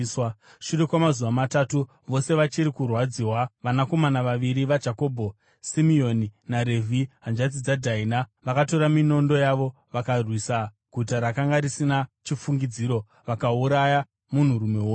Shure kwamazuva matatu, vose vachiri kurwadziwa, vanakomana vaviri vaJakobho, Simeoni naRevhi, hanzvadzi dzaDhaina, vakatora minondo yavo vakarwisa guta rakanga risina chifungidziro, vakauraya munhurume wose.